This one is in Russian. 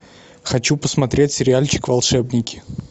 хочу посмотреть сериальчик волшебники